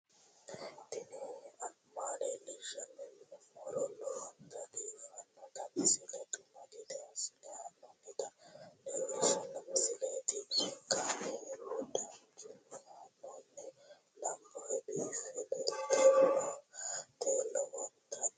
tini maa leelishshanno yaannohura lowonta biiffanota misile xuma gede assine haa'noonnita leellishshanno misileeti kaameru danchunni haa'noonni lamboe biiffe leeeltannoqolten lowonta baxissannoe halchishshanno yaate